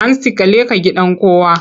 Hantsi ka leƙa gidan kowa!